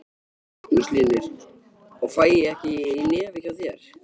Magnús Hlynur: Og fæ ég ekki í nefið hjá þér?